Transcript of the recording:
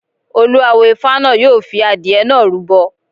Olú awo Ifá náà yóò fi adìẹ náà rúbọ.